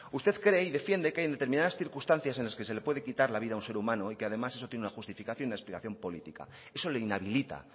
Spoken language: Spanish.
usted cree y defiende que hay determinadas circunstancias en las que se le puede quitar la vida a un ser humano y que además eso tiene una justificación y una explicación política eso le inhabilita